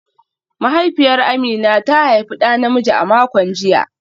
Mahaifiyar Amina ta haifi da namiji a makon jiya